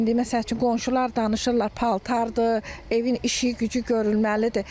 İndi məsəl üçün qonşular danışırlar paltardır, evin işi-gücü görünməlidir.